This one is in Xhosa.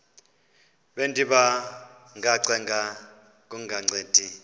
bendiba ngacenga kungancedi